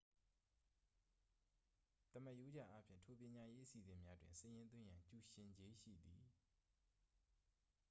သမာရိုးကျအားဖြင့် ထို ပညာရေး အစီအစဉ်များတွင် စာရင်းသွင်းရန် ကျူရှင်ကြေးရှိသည်